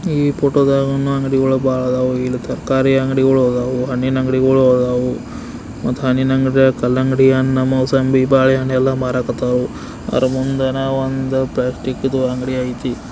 ಈ ಫೋಟೋ ದಾಗ್ನು ಅಂಗಡಿಗಳು ಬಹಳ ಅದಾವು ಇಲ್ಲಿ ತರಕಾರಿ ಅಂಗಡಿಗಳು ಅದಾವು ಹಣ್ಣಿನ ಅಂಗಡಿಗಳು ಅದಾವು ಮತ್ತೆ ಹಣ್ಣಿನ ಅಂಗಡಿ ಕಲ್ಲಂಗಡಿ ಹಣ್ಣು ಮೋಸಂಬಿ ಬಾಳೆಹಣ್ಣು ಎಲ್ಲಾ ಮಾರಕತಾವು ಅದರ ಮುಂದ ನಾವು ಒಂದು ಪ್ಲಾಸ್ಟಿಕ್ ದ ಅಂಗಡಿ ಐತಿ.